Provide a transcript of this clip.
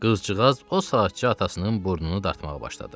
Qızcığaz o saatçı atasının burnunu dartmağa başladı.